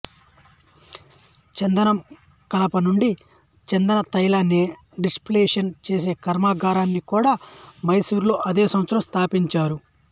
చందనం కలప నుండి చందన తైలాన్ని డిస్టిల్లేషన్ చేసే కర్మాగారాన్ని కూడా మైసూరులో అదే సంవత్సరం స్థాపించారు